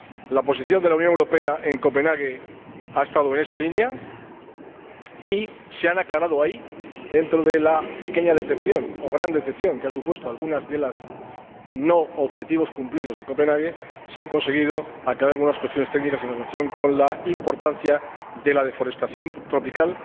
La posición de la Unión Europea en Copenhague ha estado en esa línea y, dentro de la pequeña decepción o gran decepción que han supuesto algunos de los objetivos no cumplidos de Copenhague, se han conseguido aclarar algunas cuestiones técnicas en relación con la importancia de la deforestación tropical,